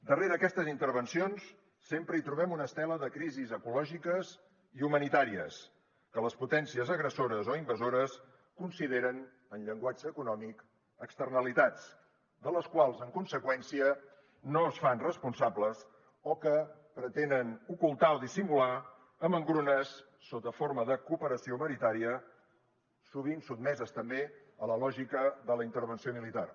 darrere aquestes intervencions sempre hi trobem una estela de crisis ecològiques i humanitàries que les potències agressores o invasores consideren en llenguatge econòmic externalitats de les quals en conseqüència no es fan responsables o que pretenen ocultar o dissimular amb engrunes sota forma de cooperació humanitària sovint sotmeses també a la lògica de la intervenció militar